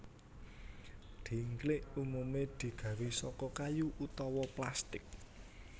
Dhingklik umumé digawé saka kayu utawa plastik